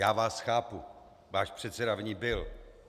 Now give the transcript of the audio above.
Já vás chápu, váš předseda v ní byl.